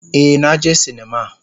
Ee, na je sinima.